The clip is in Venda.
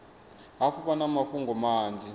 hafhu vha na mafhungo manzhi